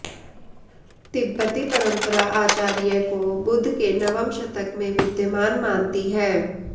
तिब्बती परम्परा आचार्य को बुद्ध के नवम शतक में विद्यमान मानती है